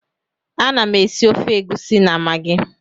Ana m esi ofe egusi na magi